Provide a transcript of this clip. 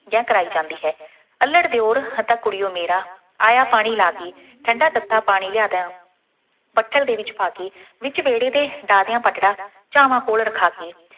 ਜਾਂ ਕਰਾਈ ਜਾਂਦੀ ਹੈ। ਅੱਲ੍ਹੜ ਦਿਉਰ ਹੈ ਤਾਂ ਕੁੜੀਓ ਮੇਰਾ, ਆਇਆਂ ਪਾਣੀ ਲਾ ਕੇ, ਠੰਡਾ ਤੱਤਾ ਪਾਣੀ ਲਿਆ ਦਾਂ, ਪੱਤਲ ਦੇ ਵਿੱਚ ਪਾ ਕੇ, ਵਿੱਚ ਵਿਹਲੇ ਦੇ ਡਾਹ ਦਿਆਂ ਪਟੜਾ ਝਾਂਵਾਂ ਕੋਲ ਰੱਖਾ ਕੇ,